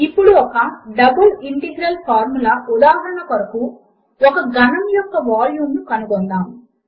ఇప్పుడు ఒక double integral formula ఉదాహరణ కొరకు ఒక ఘనము యొక్క వాల్యూమ్ ను కనుగొందాము